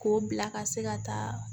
K'o bila ka se ka taa